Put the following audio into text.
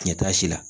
Ɲɛtaasi la